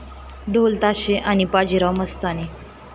ढोलताशे आणि बाजीराव मस्तानी